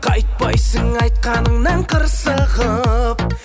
қайтпайсың айтқаныңнан қырсығып